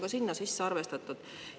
Kas see on sinna sisse arvestatud?